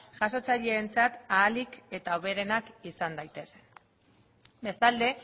jasotzaileentzat ahalik eta hoberenak izan daitezen bestalde